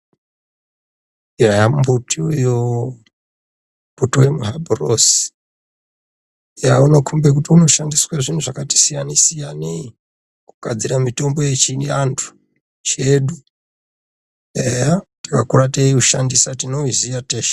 Eya mumbuti uyo, utori muhabhurosi. Eya unokhombe kuti unoshandiswe zvinhu zvakati siyanei-siyanei, kugadzira mitombo yechiantu chedu, eya takakura teyiushandisa .Tinoziya teshe.